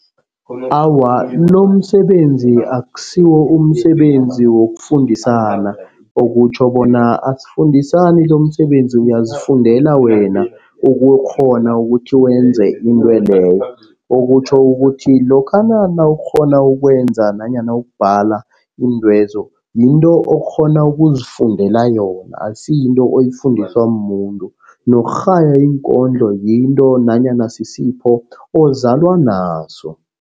Awa, lomsebenzi akusiwo umsebenzi wokufundisana. Okutjho bona asifundisani lomsebenzi uyazifundela wena ukukghona ukuthi wenze intweleyo. Okutjho ukuthi lokha nawukghona ukwenza nanyana ukubhala iintwezo. Yinto okghona ukuzifundela yona akusiyinto oyifundiswa mumuntu. Nokurhaya iinkondlo yinto nanyana sisipho ozalwa naso.